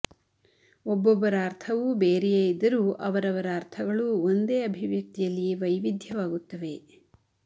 ಒಬ್ಬೊಬ್ಬರ ಅರ್ಥವೂ ಬೇರೆಯೇ ಇದ್ದರೂ ಅವರವರ ಅರ್ಥಗಳು ಒಂದೇ ಅಭಿವ್ಯಕ್ತಿಯಲ್ಲಿ ವೈವಿಧ್ಯವಾಗುತ್ತವೆ